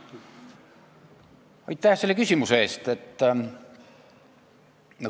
Aitäh selle küsimuse eest!